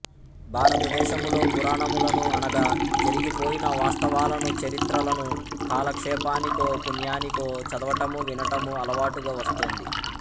భారతదేశములో పురాణములను అనగా జరిగిపోయిన వాస్తవాలను చరిత్రలను కాలక్షేపానికో పుణ్యానికో చదవటము వినటము అలవాటుగా వస్తోంది